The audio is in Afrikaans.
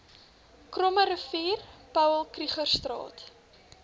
krommerivier paul krugerstraat